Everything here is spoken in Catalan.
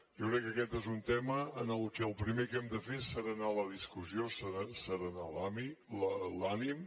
jo crec que aquest és un tema que el primer que hem de fer és asserenar la discussió asserenar l’ànim